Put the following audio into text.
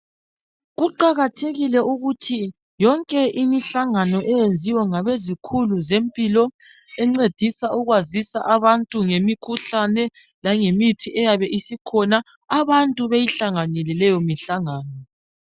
Kuqakathekile ukuthi yonke imihlangano eyenziwa ngabezikhulu zempilo encedisa ukwazisa abantu ngemikhuhlane langemithi eyabe isikhona, abantu beyihlanganele leyo mihlangano.